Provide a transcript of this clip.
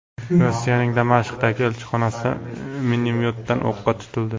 Rossiyaning Damashqdagi elchixonasi minomyotdan o‘qqa tutildi.